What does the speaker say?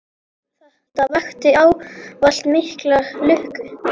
Þetta vakti ávallt mikla lukku.